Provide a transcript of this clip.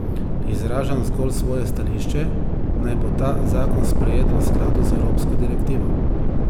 Izražam zgolj svoje stališče, naj bo ta zakon sprejet v skladu z evropsko direktivo.